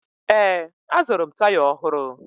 Ee, azụrụ m taya ọhụrụ